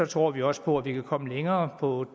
tror vi også på at vi kan komme længere på